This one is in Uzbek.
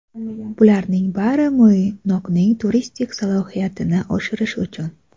Bularning bari Mo‘ynoqning turistik salohiyatini oshirish uchun!